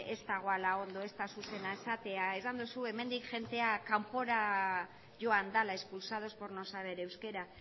ez dagoela ondo ez dela zuzena esatea esan duzu hemendik jendea kanpora joan dela expulsados por no saber euskera